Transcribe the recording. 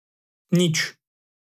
Nič.